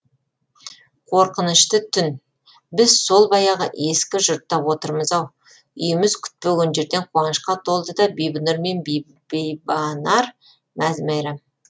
қорқынышты түн біз сол баяғы ескі жұртта отырмыз ау үйіміз күтпеген жерден қуанышқа толды да бибінұр мен бибанар мәз мәйрам